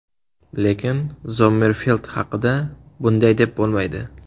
Lekin Zommerfeld haqida bunday deb bo‘lmaydi.